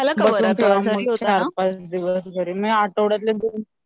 होतं चार पाच दिवस